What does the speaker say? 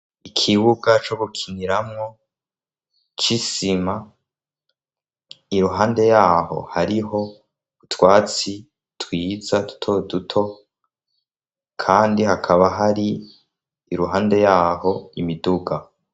Ikibuga co gukiniramwo c'isima iruhande yaho hariho utwatsi twiza duto duto kandi hakaba hari iruhande yaho imiduga.